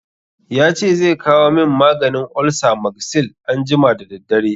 Ya ce zai kawo min maganin olsa Magsil anjima da daddare.